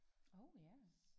Orh ja